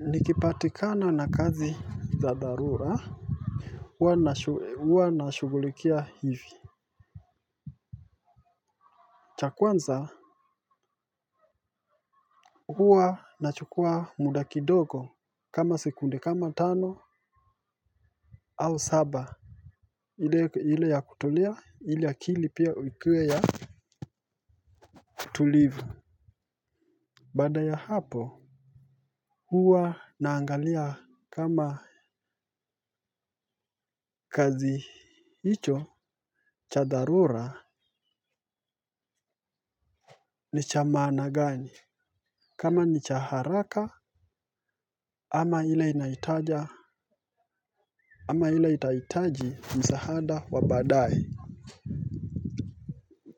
Nikipatikana na kazi za dharura huwa nashughulikia hivi. Cha kwanza huwa nachukua muda kidogo kama sekunde kama tano au saba. Ile ya kutulia ili akili pia ikuwe ya tulivu. Baada ya hapo huw naangalia kama kazi hicho cha dharura ni cha maana gani. Kama ni cha haraka ama ile inaitaja ama ile itahitaji msaada wa baadaye.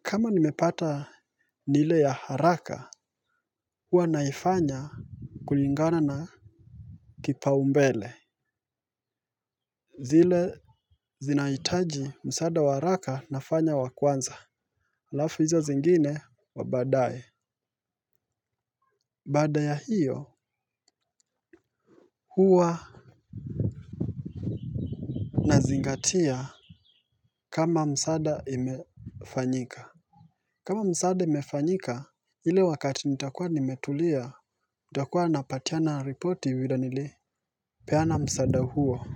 Kama nimepata ile ya haraka huwa naifanya kulingana na kipaumbele zile zinahitaji msaada wa haraka nafanya wa kwanza alafu hizo zingine wa baadaye baada ya hiyo huwa nazingatia. Kama msaada imefanyika kama msaada imefanyika, ile wakati nitakuwa nimetulia, nitakuwa napatiana riporti vile nilipeana msaada huo.